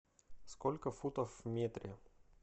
сколько футов в метре